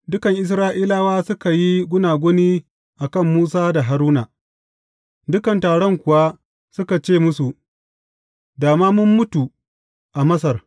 Dukan Isra’ilawa suka yi gunaguni a kan Musa da Haruna, dukan taron kuwa suka ce musu, Da ma mun mutu a Masar!